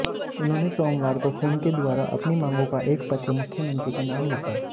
उन्होंने सोमवार को खून के द्वारा अपनी मांगों का एक पत्र मुख्यमंत्री के नाम लिखा